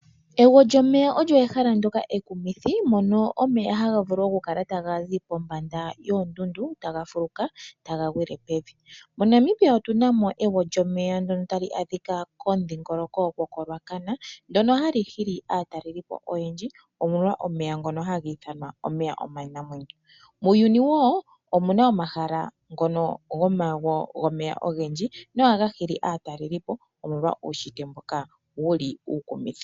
Egwo lyomeya olyo ehala ndoka ekumithi, mono omeya haga vulu oku kala taga zi pombanda yoondundu, taga fuluka taga gwile pevi. MoNamibia otuna mo egwo lyomeya ndono tali adhika komudhingoloko gokoRuacana ndono hali hili aataleli po oyendji, omolwa omeya ngono haga ithanwa omeya omanamwenyo. Muuyuni wo omuna omahala ngono gomagwo gomeya ogendji nohaga hili aataleli po omolwa uunshitwe mboka wuli uukumithi.